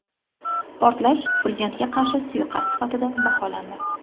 Portlash prezidentga qarshi suiqasd sifatida baholandi.